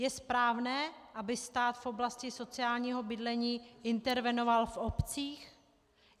Je správné, aby stát v oblasti sociálního bydlení intervenoval v obcích?